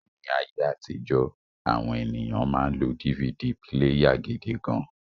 Ni aye atijo, awon eniyan ma n lo DVD píléyà gidi gan